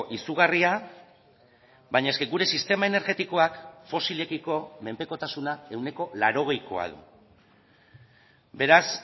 izugarria baina eske gure sistema energetikoak fosilekiko menpekotasuna ehuneko laurogeikoa beraz